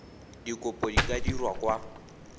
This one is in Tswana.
dikopo di ka dirwa kwa